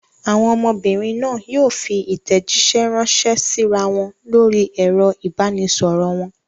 Àwọn ọmọbìnrin náà yóò fi ìtẹ̀jíṣẹ́ ránṣẹ́ síra wọn lórí ẹ̀rọ ìbanisọ̀rọ̀ wọn.